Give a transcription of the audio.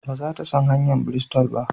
Ba za ta san hanyar Bristol ba?